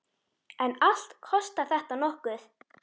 En allt kostar þetta nokkuð.